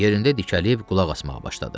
Yerində dikəlib qulaq asmağa başladı.